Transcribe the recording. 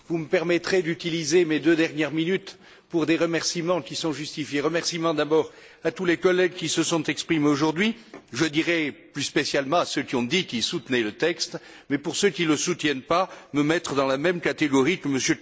Vous me permettrez d'utiliser mes deux dernières minutes pour des remerciements qui sont justifiés remerciements d'abord à tous les collègues qui se sont exprimés aujourd'hui je dirai plus spécialement à ceux qui ont dit qu'ils soutenaient le texte, mais pour ceux qui ne le soutiennent pas, me mettre dans la même catégorie que M.